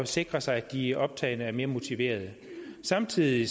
sikre sig at de optagne er mere motiverede samtidig